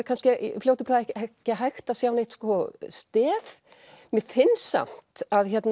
kannski í fljótu bragði ekki hægt að sjá neitt stef mér finnst samt